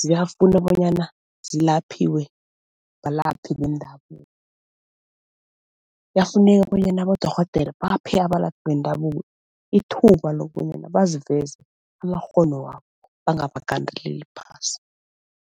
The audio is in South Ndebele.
ziyafuna bonyana zilaphiwe balaphi bendabuko. Kuyafuneka bonyana abodorhodere baphe abalaphi bendabuko ithuba lokobanyana baziveze amakghono wabo bangabagandeleli phasi.